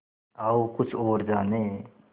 आओ कुछ और जानें